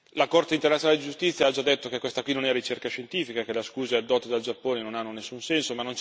La Corte internazionale di giustizia ha già detto che questa non è ricerca scientifica, che le scuse addotte dal Giappone non hanno nessun senso.